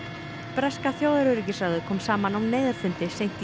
breska þjóðaröryggisráðið kom saman á neyðarfundi seint í